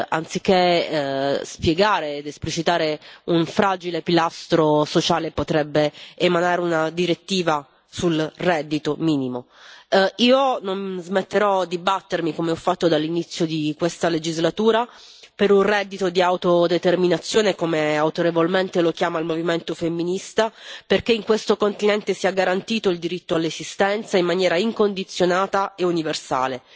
anziché spiegare ed esplicitare un fragile pilastro sociale, potrebbe emanare una direttiva sul reddito minimo. Io non smetterò di battermi, come ho fatto dall'inizio di questa legislatura, per un reddito di autodeterminazione, come autorevolmente lo chiama il movimento femminista, perché in questo continente sia garantito il diritto all'esistenza in maniera incondizionata e universale.